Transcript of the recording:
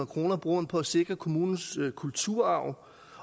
kroner bruger man på at sikre kommunens kulturarv